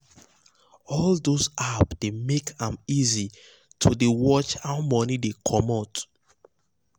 all those apps dey make am easy to dey watch how money dey comot